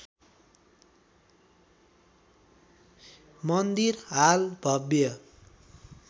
मन्दिर हाल भव्य